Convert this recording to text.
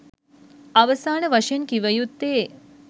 අවසාන වශයෙන් කිවයුත්තේ